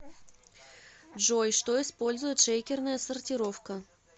джой что использует шейкерная сортировка